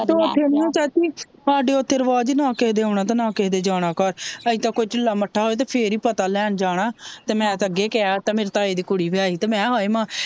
ਤਾਂ ਓਥੇ ਹੈਨੀ ਨਾਂ ਚਾਚੀ ਸਾਡੇ ਓਥੇ ਰਿਵਾਜ ਨਾਂ ਕਿਸੇ ਦੇ ਆਉਣਾ ਨਾਂ ਕਿਸੇ ਦੇ ਜਾਣਾ ਘਰ ਅਸੀਂ ਤੇ ਕੋਈ ਠੀਲਾ ਮੱਠਾ ਹੋਏ ਤੇ ਫੇਰ ਹੀ ਪਤਾ ਲੈਣ ਜਾਣਾ ਤੇ ਮੈ ਤਾਂ ਅੱਗੇ ਕੈਅਤਾਂ ਮੇਰੇ ਤਾਏ ਦੀ ਕੁੜੀ ਵੀ ਆਈ ਸੀ ਤੇ ਮੈਕੇਆ ਹਾਏ ਮਾਂ